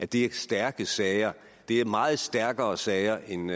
det stærke sager det er meget stærkere sager end